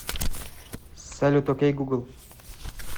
салют окей гугл